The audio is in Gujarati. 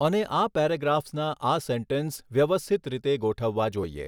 અને આ પેરેગ્રાફ્સના આ સેન્ટેન્સ વ્યવસ્થિત રીતે ગોઠવવા જોઈએ.